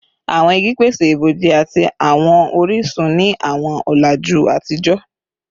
Awọn igi pese iboji ati awọn orisun ni awọn ọlaju atijọ